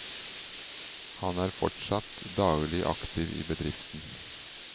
Han er fortsatt daglig aktiv i bedriften.